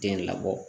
Den labɔ